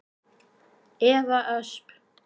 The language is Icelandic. Eva Ösp.